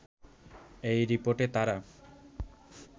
এই রিপোর্টে তারা